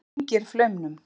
Hún kyngir flaumnum.